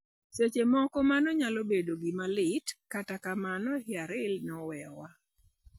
Seche moko mano nyalo bedo gima lit, kata kamano, Yarely ne oweyowa.